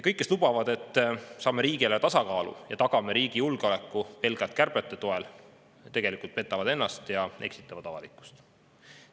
Kõik, kes lubavad, et saame riigieelarve tasakaalu ja tagame riigi julgeoleku pelgalt kärbete toel, tegelikult petavad ennast ja eksitavad avalikkust.